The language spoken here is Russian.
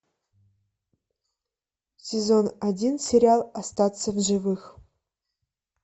сезон один сериал остаться в живых